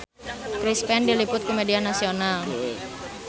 Chris Pane diliput ku media nasional